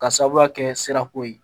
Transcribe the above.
Ka sababuya kɛ sirako ye